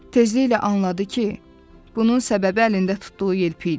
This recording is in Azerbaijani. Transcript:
Tezliklə anladı ki, bunun səbəbi əlində tutduğu yelpik idi.